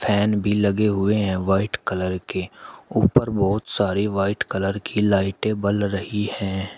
Fan भी लगे हुए हैं व्हाइट कलर के ऊपर बहुत सारी व्हाइट कलर की लाइटें बल रही हैं।